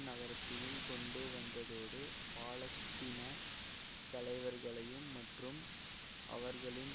நகரத்தையும் கொண்டு வந்ததோடு பாலஸ்தீன தலைவர்களையும் மற்றும் அவர்களின்